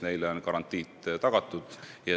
Neile on garantiid tagatud.